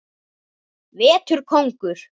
Vetur kóngur.